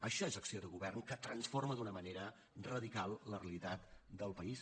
això és acció de govern que transforma d’una manera radical la realitat del país